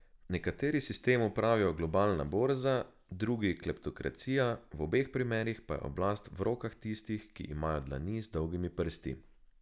Nekateri sistemu pravijo globalna borza, drugi kleptokracija, v obeh primerih pa je oblast v rokah tistih, ki imajo dlani z dolgimi prsti.